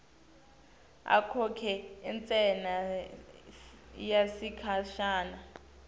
akhokhe intsela yesikhashana